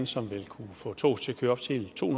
som vil kunne få toget til at køre op til to